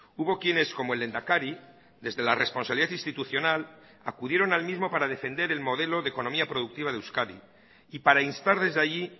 hubo quienes como el lehendakari desde la responsabilidad institucional acudieron al mismo para defender el modelo de economía productiva de euskadi y para instar desde allí